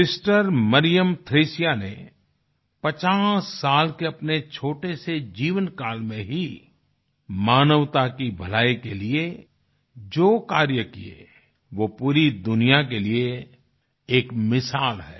sister Mariam Thresia ने 50 साल के अपने छोटे से जीवनकाल में ही मानवता की भलाई के लिए जो कार्य किए वो पूरी दुनिया के लिए एक मिसाल है